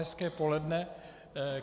Hezké poledne.